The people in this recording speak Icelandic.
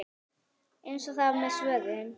Eins er það með svörin.